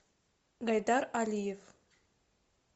гайдар алиев